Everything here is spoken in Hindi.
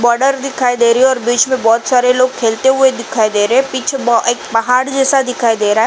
बोर्डर दिखाई दे रही और बीच में बहुत सारे लोग खेलते हुए दिखाई दे रहे पीछे एक पहाड़ जैसा दिखाई दे रहा --